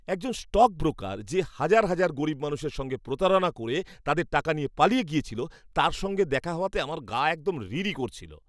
একজন স্টকব্রোকার, যে হাজার হাজার গরীব মানুষের সঙ্গে প্রতারণা করে তাদের টাকা নিয়ে পালিয়ে গিয়েছিল, তার সঙ্গে দেখা হওয়াতে আমার গা একদম রি রি করছিল।